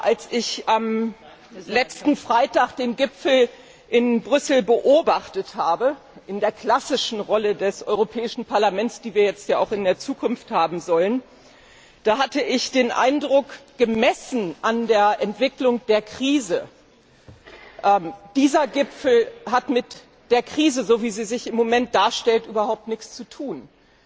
Als ich am letzten Freitag den Gipfel in Brüssel beobachtet habe in der klassischen Rolle des Europäischen Parlaments, die wir jetzt ja auch in Zukunft haben sollen hatte ich den Eindruck, dass, gemessen an der Entwicklung der Krise, dieser Gipfel mit der Krise, so wie sie sich im Moment darstellt, überhaupt nichts zu tun hat.